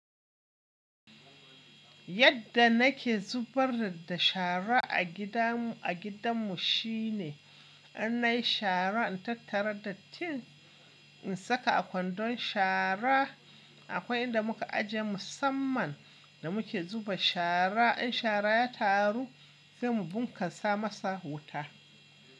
Yadda nake zubar da shara a gidanmu shine an nayi shara in tattara da tin in saka a kwandon shara. Akwai inda muka ajiye musamman da muke zuba shara. In shara ya taru, sai mu bunkasa masa wuta.